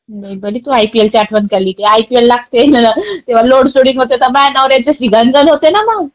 बरे तो आयपीएलचे आठवण काढली ते आयपीएल लागतायेत तेव्हा लोडशेडिंग होते तर माझ्या नवऱ्याची गण गण होते ना मग.